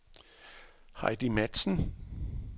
Heidi Matzen